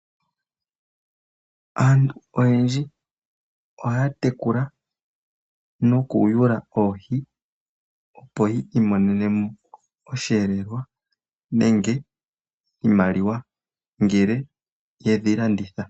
Aantu oyendji ohaya tekula nokuyula oohi, opo yi imonene mo osheelelwa nenge iimaliwa ngele ye dhi landitha.